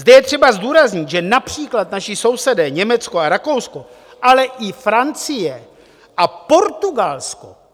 Zde je třeba zdůraznit, že například naši sousedé Německo a Rakousko, ale i Francie a Portugalsko.